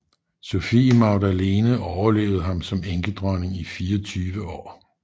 Sophie Magdalene overlevede ham som enkedronning i 24 år